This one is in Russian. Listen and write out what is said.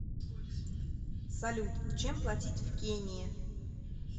салют чем платить в кении